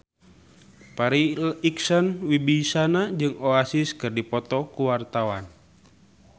Farri Icksan Wibisana jeung Oasis keur dipoto ku wartawan